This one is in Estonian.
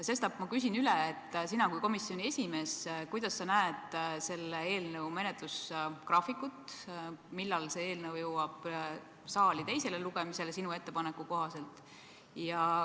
Sestap ma küsin üle: sina kui komisjoni esimees, kuidas sa näed selle eelnõu menetlusgraafikut, millal see eelnõu jõuab sinu ettepaneku kohaselt saali teisele lugemisele?